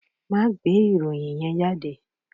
Máa gbé ìròyìn yẹn jáde.